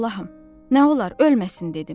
Allahım, nə olar ölməsin dedim.